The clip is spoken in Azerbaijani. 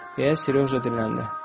Deyə Sereja dinləndi.